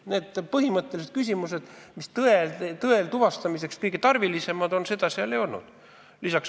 Vastuseid nendele põhimõttelistele küsimustele, mis tõe tuvastamiseks kõige tarvilisemad on, seal ei olnud.